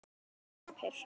Hún gapir.